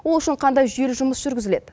ол үшін қандай жүйелі жұмыс жүргізіледі